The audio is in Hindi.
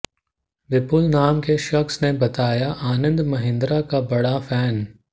विपुल नाम के शख्स ने बताया आनंद महिन्द्रा का बड़ा फैन